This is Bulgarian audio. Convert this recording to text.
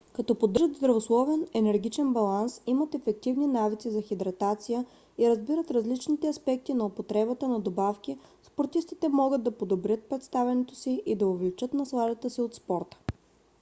като поддържат здравословен енергиен баланс имат ефективни навици за хидратация и разбират различните аспекти на употребата на добавки спортистите могат да подобрят представянето си и да увеличат насладата си от спорта